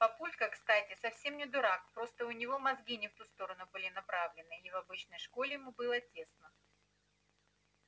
папулька кстати совсем не дурак просто у него мозги не в ту сторону были направлены и в обычной школе ему было тесно